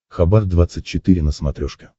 хабар двадцать четыре на смотрешке